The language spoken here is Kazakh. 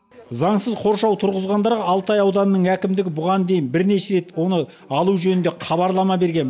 заңсыз қоршау тұрғызғандарға алтай ауданының әкімдігі бұған дейін бірнеше рет оны алу жөнінде хабарлама берген